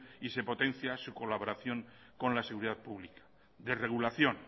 y se potencia su colaboración con la seguridad pública desregulación